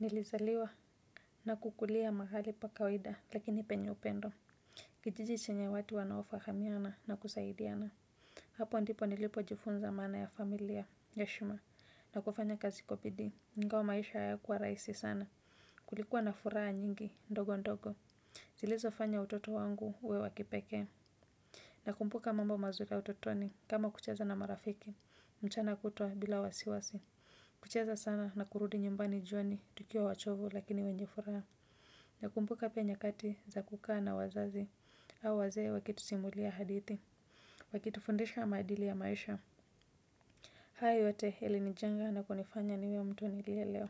Nilizaliwa na kukulia mahali pa kawaida lakini penye upendo kijiji chenye watu wanaofahamiana na kusaidiana hapo ndipo nilipojifunza maana ya familia ya heshima na kufanya kazi kwa bidii, ingawa maisha hayakuwa rahisi sana kulikuwa na furaha nyingi ndogo ndogo zilizofanya utoto wangu uwe wa kipekee nakumbuka mambo mazuri ya utotoni kama kucheza na marafiki mchana kutwa bila wasiwasi kucheza sana na kurudi nyumbani jioni tukiwa wachovu lakini wenye furaha nakumbuka pia nyakati za kukaa na wazazi au wazee wakitusimulia hadithi wakitufundisha maadili ya maisha hayo yote ilinijenga na kunifanya niwe mtu nilielewa